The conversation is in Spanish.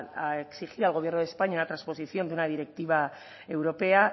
a exigir al gobierno de españa la trasposición de una directiva europea